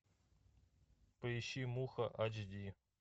поищи муха эйч ди